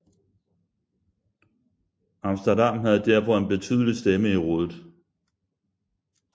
Amsterdam havde derfor en betydelig stemme i rådet